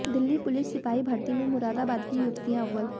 Delhi police सिपाही भर्ती में मुरादाबाद की युवतियां अव्वल